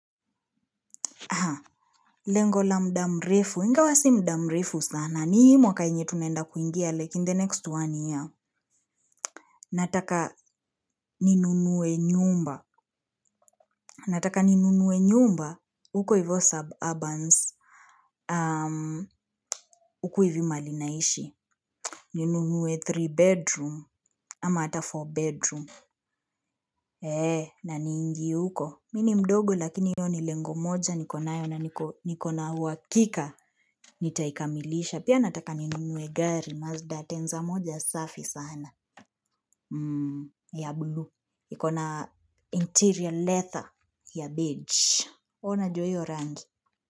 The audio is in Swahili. Lengo la muda mrefu, ingawa si muda mrefu sana, ni hii mwaka yenye tunaenda kuingia, like in the next one year. Nataka ninunue nyumba. Nataka ninunue nyumba, huko hivo suburbans. Um, huku hivi mahali naishi. Ninunue three bedroom, ama ata four bedroom. Eeh, na niingie huko. Mimi ni mdogo lakini hiyo ni lengo moja, nikonayo na nikona uhakika, nitaikamilisha. Pia nataka ninunue gari Mazda Atenza moja safi sana ya blue. Ikona na interior leather ya beige. Huwa najua hiyo rangi.